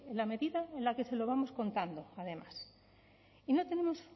la medida en la que se lo vamos contando además y no tenemos